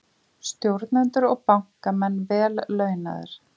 Stjórnendur og bankamenn vel launaðir